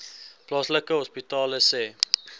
plaaslike hospitale sê